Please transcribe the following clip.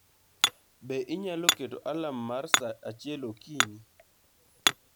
Be inyalo keto alarm mara saa achiel okinyi